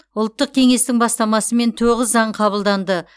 ұлттық кеңестің бастамасымен тоғыз заң қабылданды